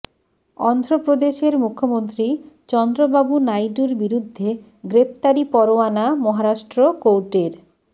অন্ধ্ৰপ্ৰদেশের মুখ্যমন্ত্ৰী চন্দ্ৰবাবু নাইডুর বিরুদ্ধে গ্ৰেপ্তারি পরোয়ানা মহারাষ্ট্ৰ কোর্টের